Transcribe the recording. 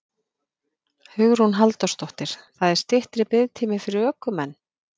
Hugrún Halldórsdóttir: Það er styttri biðtími fyrir ökumenn?